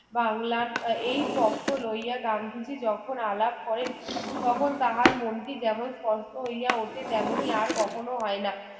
বাংলান এই পক্ষ লইয়া গান্ধীজি যখন আলাপ করেন তখন তাহার মনটি যেমন স্পষ্ট হইয়া ওঠে তেমনি আর কখনো হয়না